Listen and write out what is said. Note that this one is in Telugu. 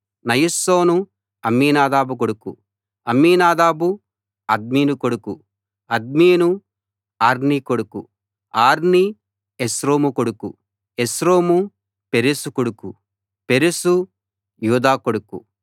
నయస్సోను అమ్మీనాదాబు కొడుకు అమ్మీనాదాబు అద్మిను కొడుకు అద్మిను అర్నీ కొడుకు అర్నీ ఎస్రోము కొడుకు ఎస్రోము పెరెసు కొడుకు పెరెసు యూదా కొడుకు